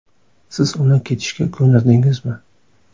Siz uni ketishga ko‘ndirdingizmi?